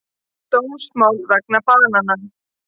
Dómsmál vegna banana